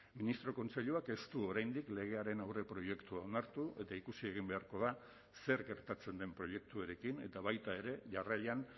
ministro kontseiluak ez du oraindik legearen aurreproiektua onartu eta ikusi egin beharko da zer gertatzen den proiektuarekin eta baita ere jarraian